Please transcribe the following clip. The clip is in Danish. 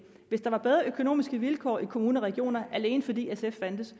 hvis der var bedre økonomiske vilkår i kommuner og regioner alene fordi sf fandtes